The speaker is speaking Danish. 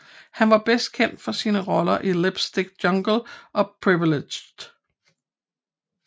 Han er bedst kendt for sine roller i Lipstick Jungle og Privileged